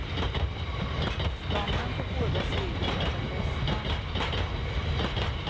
Stammen på båda sidor är den bästa.